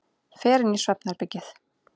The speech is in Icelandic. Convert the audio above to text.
Fer inn í svefnherbergið.